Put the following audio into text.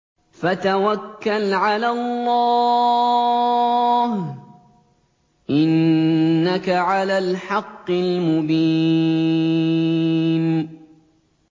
فَتَوَكَّلْ عَلَى اللَّهِ ۖ إِنَّكَ عَلَى الْحَقِّ الْمُبِينِ